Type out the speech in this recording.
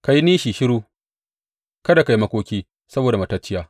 Ka yi nishi shiru; kada ka yi makoki saboda matacciyar.